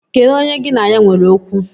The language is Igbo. Kedu onye gi na ya nwere okwu?